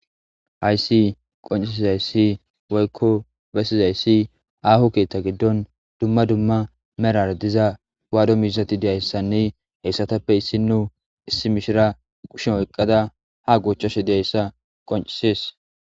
Haysi qonccisizayssi woykko bessizayssi soho ketta giddon dumma dumma medhora diza wado miizzatti diyayssanne ettattappe issino issi mishira kusha oyqada ha goochchashe diyayssa qonccises